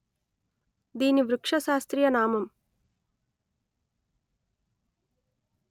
దీని వృక్ష శాస్త్రీయ నామం